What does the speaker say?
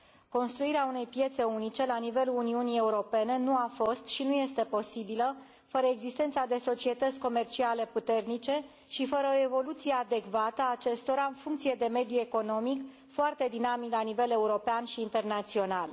Construirea unei piețe unice la nivelul Uniunii Europene nu a fost și nu este posibilă fără existența unor societăți comerciale puternice și fără o evoluție adecvată a acestora în funcție de mediul economic, foarte dinamic la nivel european și internațional.